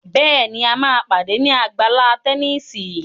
Béèni a má pàdé ní Àgbàlá Tẹníìsì.